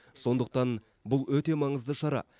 сондықтан бұл өте маңызды шара